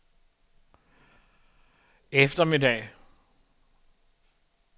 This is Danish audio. eftermiddag